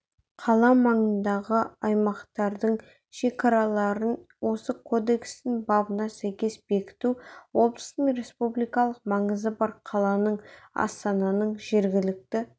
қала маңындағы аймақтардың шекараларын осы кодекстің бабына сәйкес бекіту облыстың республикалық маңызы бар қаланың астананың жергілікті